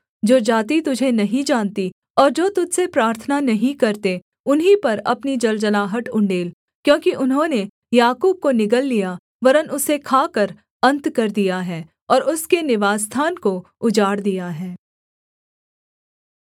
जो जाति तुझे नहीं जानती और जो तुझ से प्रार्थना नहीं करते उन्हीं पर अपनी जलजलाहट उण्डेल क्योंकि उन्होंने याकूब को निगल लिया वरन् उसे खाकर अन्त कर दिया है और उसके निवासस्थान को उजाड़ दिया है